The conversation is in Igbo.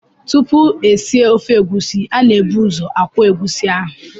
Tupu esie ofe egusi, a na-ebu ụzọ akwọ egusi ahụ.